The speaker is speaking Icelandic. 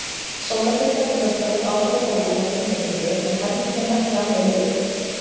Sólarbirta getur haft góð áhrif á bólurnar tímabundið en heldur þeim ekki alveg niðri.